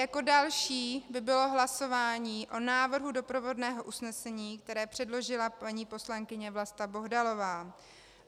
Jako další by bylo hlasování o návrhu doprovodného usnesení, které předložila paní poslankyně Vlasta Bohdalová.